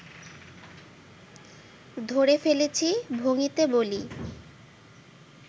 ধরে ফেলেছি ভঙিতে বলি